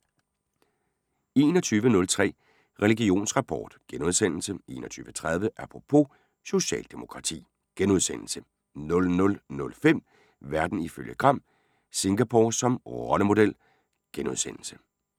21:03: Religionsrapport * 21:30: Apropos - socialdemokrati * 00:05: Verden ifølge Gram: Singapore som rollemodel *